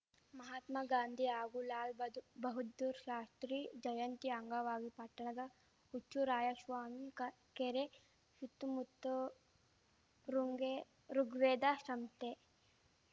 ಮಹಾತ್ಮಗಾಂಧಿ ಹಾಗೂ ಲಾಲ್‌ಬಹ ಬಹದ್ದೂರ್‌ ಶಾಸ್ತ್ರಿ ಜಯಂತಿ ಅಂಗವಾಗಿ ಪಟ್ಟಣದ ಹುಚ್ಚುರಾಯಶ್ವಾಮಿ ಕ ಕೆರೆ ಶುತ್ತು ಮುತ್ತು ಋನ್ಗೆ ಋುಗ್ವೇದ ಶಂಶ್ತೆ